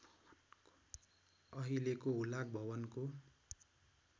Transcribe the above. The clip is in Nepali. अहिलेको हुलाक भवनको